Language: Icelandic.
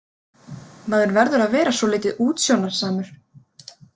Maður verður að vera svolítið útsjónarsamur.